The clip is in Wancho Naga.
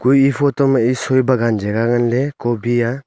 kue e photo ma ae soi bagan jagha ngan ley cobi ah.